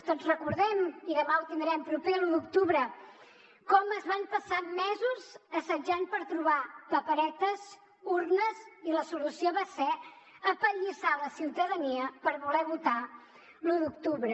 tots recordem i demà ho tindrem proper l’u d’octubre com es van passar mesos assetjant per trobar paperetes urnes i la solució va ser apallissar la ciutadania per voler votar l’u d’octubre